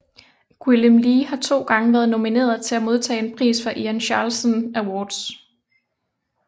Gwilym Lee har to gange været nomineret til at modtage en pris fra Ian Charleson Awards